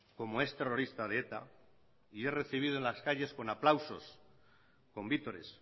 como ex terrorista de eta y es recibido en las calles con aplausos con vítores